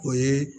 O ye